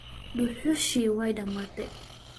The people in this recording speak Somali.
Duxushi way damatay.